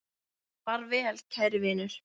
Far vel, kæri vinur.